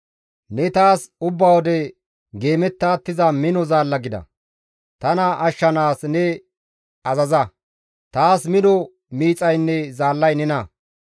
Ne taas ubba wode geemetta attiza mino zaalla gida; tana ashshanaas ne azaza; taas mino miixaynne zaallay nena.